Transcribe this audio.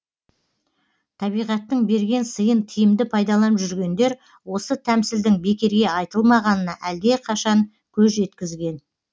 табиғаттың берген сыйын тиімді пайдаланып жүргендер осы тәмсілдің бекерге айтылмағанына әлдеқашан көз жеткізген